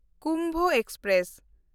Kumbha express